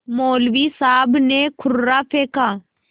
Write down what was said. मौलवी साहब ने कुर्रा फेंका